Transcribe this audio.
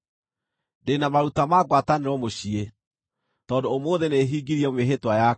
“Ndĩ na maruta ma ngwatanĩro mũciĩ, tondũ ũmũthĩ nĩhingirie mĩĩhĩtwa yakwa.